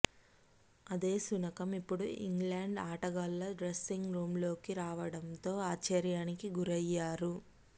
అదే శునకం ఇప్పుడు ఇంగ్లాండ్ ఆటగాళ్ల డ్రస్సింగ్ రూంలోకి రావడంతో ఆశ్చర్యానికి గురయ్యారు